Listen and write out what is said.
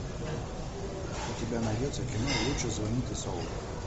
у тебя найдется кино лучше звоните солу